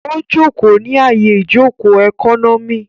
Ó jòkó ní àyè ìjòkó ẹkọ́nọ́mì